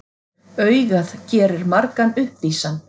Augað gerir margan uppvísan.